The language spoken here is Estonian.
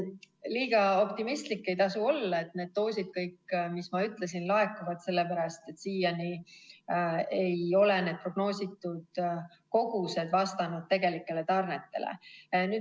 Liiga optimistlik ei tasu olla, et kõik need doosid, mis ma ütlesin, laekuvad, sellepärast et siiani ei ole need prognoositud kogused vastanud tegelikele tarnetele.